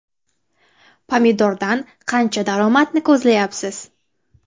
– Pomidordan qancha daromadni ko‘zlayapsiz?